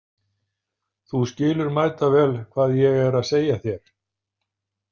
Þú skilur mætavel hvað ég er að segja þér.